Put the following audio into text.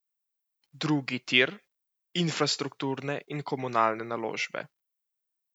Drugi tir, infrastrukturne in komunalne naložbe?